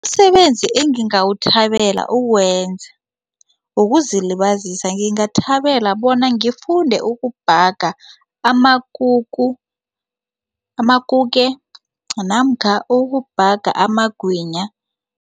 Umsebenzi engingawuthabele ukuwenza wokuzilibazisa ngingathabela bona ngifunde ukubhaga amakuku amakuke namkha ukubhaga amagwinya.